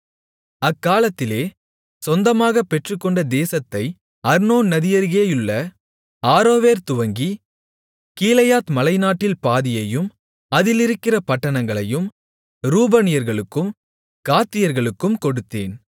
அக்காலத்திலே சொந்தமாகப் பெற்றுக்கொண்ட தேசத்தை அர்னோன் நதியருகேயுள்ள ஆரோவேர் துவங்கி கீலேயாத் மலைநாட்டில் பாதியையும் அதிலிருக்கிற பட்டணங்களையும் ரூபனியர்களுக்கும் காத்தியர்களுக்கும் கொடுத்தேன்